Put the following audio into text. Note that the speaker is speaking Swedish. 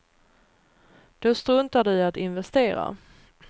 Då struntar de i att investera.